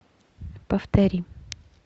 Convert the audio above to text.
повтори